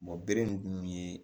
bere nun ye